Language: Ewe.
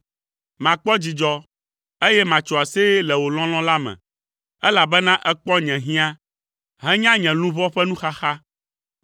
Makpɔ dzidzɔ, eye matso aseye le wò lɔlɔ̃ la me, elabena èkpɔ nye hiã henya nye luʋɔ ƒe nuxaxa.